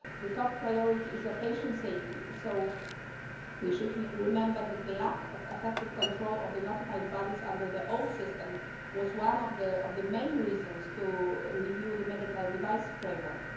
The top priority is patient safety. So we should remember that the lack of effective control of the notified bodies under the old system was one of the main reasons to review the medical devices framework.